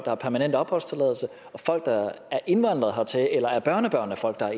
har permanent opholdstilladelse og folk der er indvandret hertil eller er børnebørn af folk der er